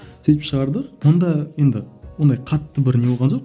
сөйтіп шығардық бұнда енді ондай қатты бір не болған жоқ